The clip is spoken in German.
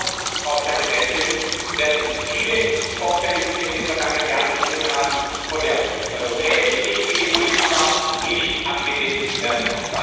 Und leider werden viele Vorfälle, die wir in den vergangenen Jahren gesehen haben, von der europäischen Richtlinie unmittelbar nicht abgedeckt werden.